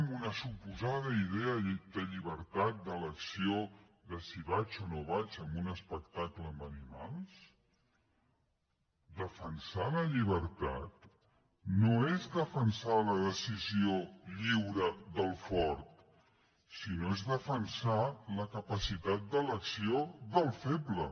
amb una suposada idea de llibertat d’elecció de si vaig o no vaig a un espectacle amb animals defensar la llibertat no és defensar la decisió lliure del fort sinó que és defensar la capacitat d’elecció del feble